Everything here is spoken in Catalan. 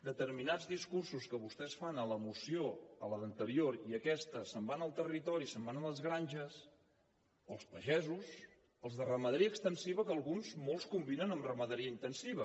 determinats discursos que vostès fan a la moció a l’anterior i aquesta se’n van al territori se’n van a les granges o als pagesos als de ramaderia extensiva que alguns molts combinen amb ramaderia intensiva